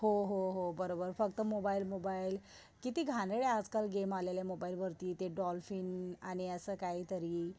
हो, हो, हो बरोबर फक्त मोबाईल मोबाईल. किती आजकाल गमे आलेले मोबाईलवरती ते डॉल्फिन आणि असं काहीतरी